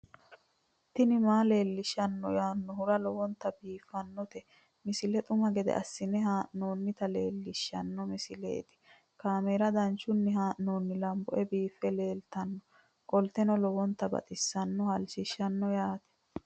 tini maa leelishshanno yaannohura lowonta biiffanota misile xuma gede assine haa'noonnita leellishshanno misileeti kaameru danchunni haa'noonni lamboe biiffe leeeltannoqolten lowonta baxissannoe halchishshanno yaate